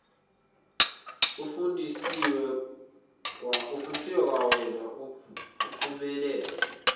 ufundiswe kwawena uphumelele